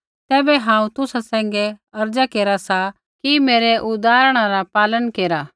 तैबै हांऊँ तुसा सैंघै अर्ज़ा केरा सा कि मेरै उदाहरणा रा पालन केरा